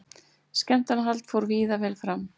Skemmtanahald fór víða vel fram